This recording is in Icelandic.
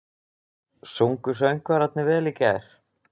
Sungu söngvararnir vel í gær?